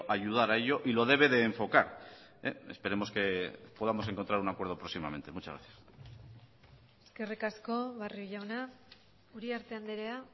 ayudar a ello y lo debe de enfocar esperemos que podamos encontrar un acuerdo próximamente muchas gracias eskerrik asko barrio jauna uriarte andrea